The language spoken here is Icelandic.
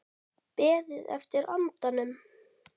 Beðið eftir andanum